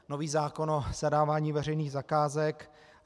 Nový zákon o zadávání veřejných zakázek.